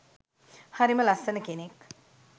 හරිම ලස්සන කෙනෙක්